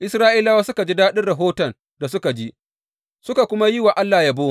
Isra’ilawa suka ji daɗin rahoton da suka ji, suka kuma yi wa Allah yabo.